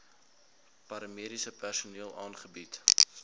paramediese personeel aangebied